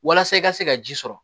Walasa i ka se ka ji sɔrɔ